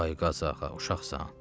Ay Qazağa, uşaqsan.